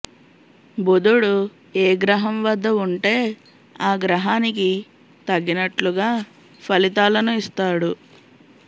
బుధుడు ఏ గ్రహం వద్ద ఉంటే ఆ గ్రహానికి తగినట్లుగా ఫలితాలను ఇస్తాడు